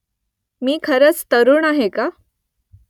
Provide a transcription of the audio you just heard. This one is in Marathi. मी खरंच तरूण आहे का ?